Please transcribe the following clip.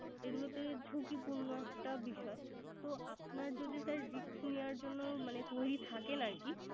এগুলোতে ঝুঁকিপূর্ণ একটা বিষয়। তো আপনার যদি sir risk নেওয়ার জন্য মানে তৈরি থাকেন আরকি